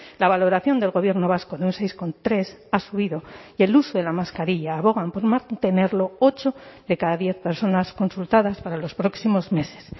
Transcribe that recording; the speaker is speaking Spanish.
la valoración del gobierno vasco en un seis coma tres ha subido y el uso de la mascarilla abogan por mantenerlo ocho de cada diez personas consultadas para los próximos meses